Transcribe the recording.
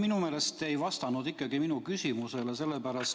Minu meelest te ei vastanud ikkagi minu küsimusele.